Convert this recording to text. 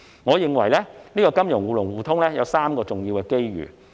我認為金融互聯互通有3個重要的機遇。